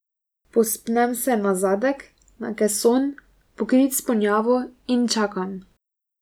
Povzpnem se na zadek, na keson, pokrit s ponjavo, in čakam.